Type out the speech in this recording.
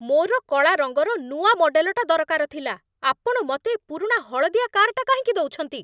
ମୋର କଳା ରଙ୍ଗର ନୂଆ ମଡେଲଟା ଦରକାର ଥିଲା । ଆପଣ ମତେ ଏ ପୁରୁଣା ହଳଦିଆ କାର୍‌ଟା କାହିଁକି ଦଉଛନ୍ତି?